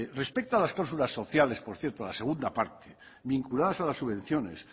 respeto a las clausulas sociales por cierto a la segunda parte vinculadas a la subvenciones